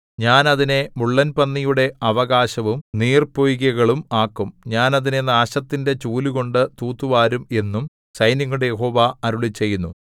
ഞാൻ അതിനെ മുള്ളൻ പന്നിയുടെ അവകാശവും നീർപ്പൊയ്കകളും ആക്കും ഞാൻ അതിനെ നാശത്തിന്റെ ചൂലുകൊണ്ട് തൂത്തുവാരും എന്നും സൈന്യങ്ങളുടെ യഹോവ അരുളിച്ചെയ്യുന്നു